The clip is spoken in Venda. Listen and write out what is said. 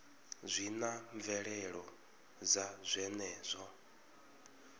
zwi na mvelelo dza zwenezwo